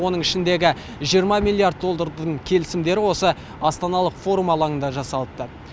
оның ішіндегі миллиард доллардың келісімдері осы астаналық форум алаңында жасалыпты